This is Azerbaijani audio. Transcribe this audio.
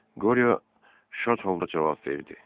Qorio şad halda cavab verdi: